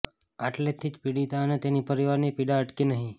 આટલેથી જ પીડીતા અને તેની પરિવારની પીડા અટકી નહિ